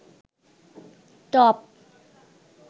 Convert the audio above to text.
top